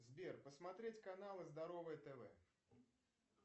сбер посмотреть каналы здоровое тв